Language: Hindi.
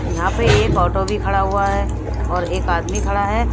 तो यहां पे एक ऑटो भी खड़ा हुआ है और एक आदमी खड़ा है।